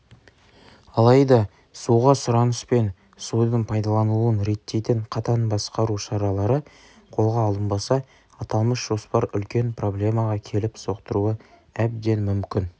алайда суға сұраныс пен судың пайдаланылуын реттейтін қатаң басқару шаралары қолға алынбаса аталмыш жоспар үлкен проблемаға келіп соқтыруы әбден мүмкін